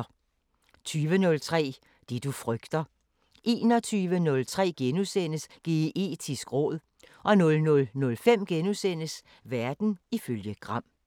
20:03: Det du frygter 21:03: Geetisk råd * 00:05: Verden ifølge Gram *